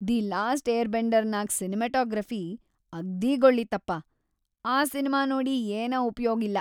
"""The last ಏರ್ಬೆಂಡರ್""ನಾಗ್‌ cinematography ಅಗ್ದೀ ಗೊಳ್ಳಿತ್ತಪಾ, ಆ ಸಿನಿಮಾ ನೋಡಿ ಏನ ಉಪಯೋಗಿಲ್ಲಾ."